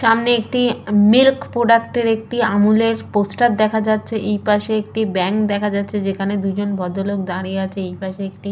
সামনে একটি milk product এর একটি আমুলের পোস্টার দেখা যাচ্ছে এই পাশে একটি ব্যাঙ্ক দেখা যাচ্ছে যেখানে দুইজন ভদ্রলোক ফাটিয়ে আছে এইপাশে একটি--